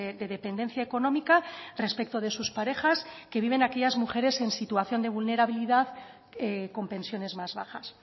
de dependencia económica respecto de sus parejas que viven aquellas mujeres en situación de vulnerabilidad con pensiones más bajas